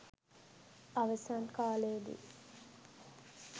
අවසන් කාලයේදී